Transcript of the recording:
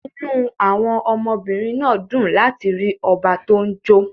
Inú àwọn ọmọbìnrin náà dùn láti rí ọba tó ń jó